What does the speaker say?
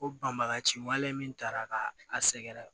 Ko banbagaci wale min tara ka a sɛgɛrɛ